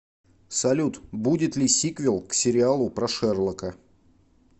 салют будет ли сиквел к сериалу про шерлока